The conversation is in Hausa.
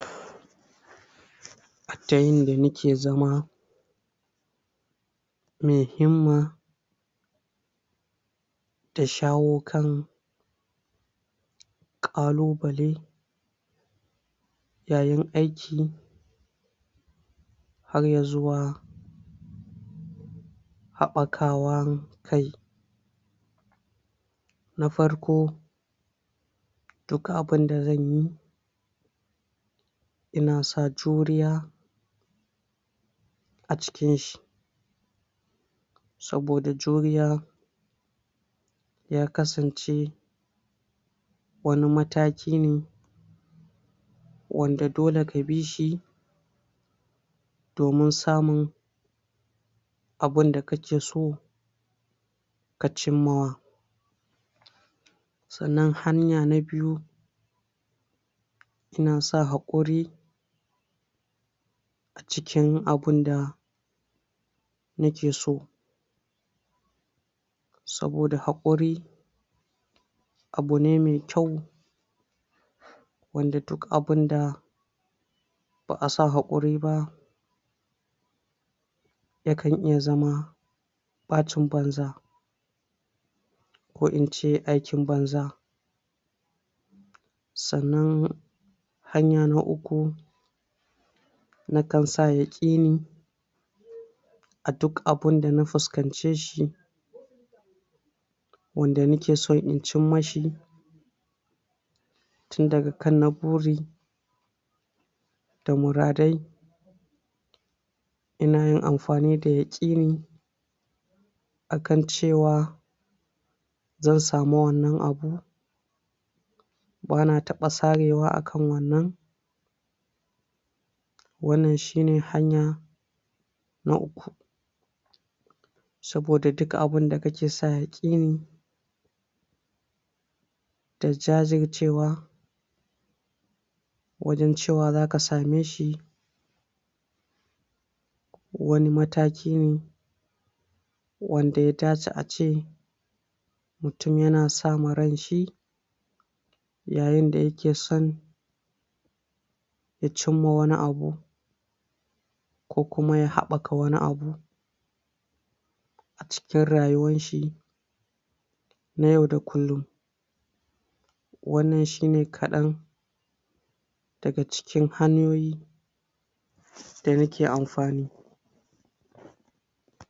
A ta yanda mu ke zama mai himma da shawo kan ƙalubale yayin aiki har ya zuwa haɓakawan kai na farko: Duk abinda zan yi ina sa juriya a cikin shi, saboda juriya ya kasance wani mataki ne wanda dole ka bishi domin samun abun da ka ke so ka cimmawa, sannan hanya na biyu ina sa haƙuri a cikin abun da ni ke so, saboda haƙuri abu ne mai kyau wanda duk abun da ba'a sa haƙuri ba yakan iya zama ɓacin banza ko in ce aikin banza, sannan hanya na uku: Nakan sa yaƙini a duk abunda na fuskanceshi wanda ni ke son in cimma shi tun daga kan na buri da muradai ina yin amfani da yaƙini akan ce wa zan samuwannan abu ba na taɓa sarewa a kan wannan wannan shi ne hanya na uku, saboda duk abun da ka ke sa yaƙini da jajircewa wajen ce wa za ka same shi wani mataki ne wanda ya dace a ce mutum ya na sa ma ranshi yayinda ya ke son ya cimma wani abu ko kuma ya haɓaka wani abu a cikin rayuwan shi na yau da kullum, wannan shine kaɗan daga cikin hanyoyi da ni ke amfani.